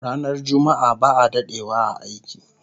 Ranar jumma'a ba'a dadewa a aiki